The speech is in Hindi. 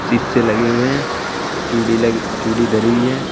शीशे लगे हुए हैं चूड़ी लग चूड़ी धरी हुई है।